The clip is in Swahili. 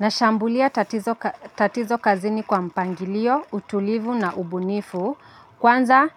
Nashambulia tatizo kazini kwa mpangilio, utulivu na ubunifu. Kwanza